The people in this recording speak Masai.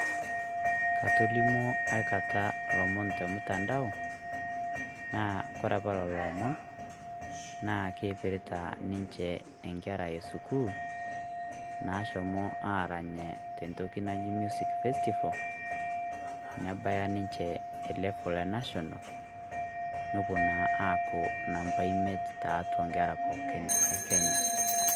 Katolimwo aikata ilomon te mtandao naa kore apaa loloo imon na keipirita ninchee enkerra e suukul naashomo aranyee te ntoki naji music festival. Nebaya ninchee e [c] level e national nepoo na aaku namba imeet taatua nkerra pookin e Kenya.